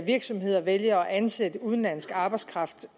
virksomheder vælger at ansætte udenlandsk arbejdskraft